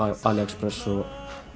Aliexpress og